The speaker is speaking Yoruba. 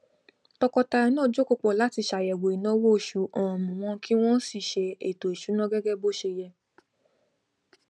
tọkọtaya náà jókòó pọ láti ṣàyẹwò ináwó oṣù um wọn kí wọn sì ṣe ètò ìsúná gẹgẹ bó ṣe yẹ